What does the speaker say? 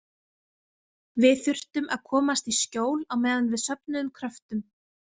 Við þurftum að komast í skjól á meðan við söfnuðum kröftum.